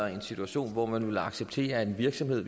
en situation hvor man ville acceptere at en virksomhed